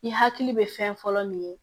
I hakili bɛ fɛn fɔlɔ min ye